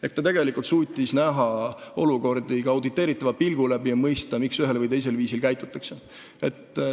Ehk tegelikult ta suutis näha olukordi ka auditeeritava pilgu läbi ja mõista, miks ühel või teisel viisil käitutakse.